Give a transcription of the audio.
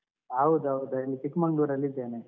ಹೌದು ಹೌದು ಅಲ್ಲಿ ಚಿಕ್ಮಂಗ್ಳೂರ್ ಅಲ್ಲಿ ಇದ್ದೇನೆ.